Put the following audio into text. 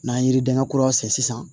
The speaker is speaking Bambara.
N'an ye yiridɛŋuraw san sisan